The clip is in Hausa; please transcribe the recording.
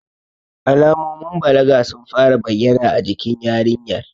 Alamomin balaga sun fara bayyana a jikin yarinyar.